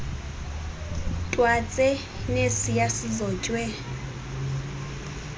twatse nesiya sizotywe